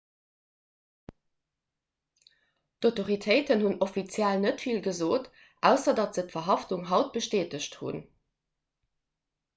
d'autoritéiten hunn offiziell net vill gesot ausser datt se d'verhaftung haut bestätegt hunn